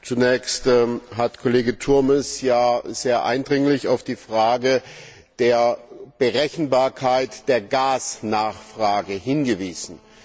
Zunächst hat Kollege Turmes ja sehr eindringlich auf die Frage der Berechenbarkeit der Gasnachfrage hingewiesen.